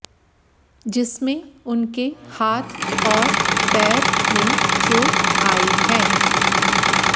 जिसमें उनके हाथ और पैर में चोट आई है